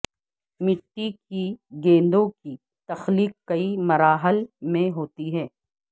مٹی کی گیندوں کی تخلیق کئی مراحل میں ہوتی ہے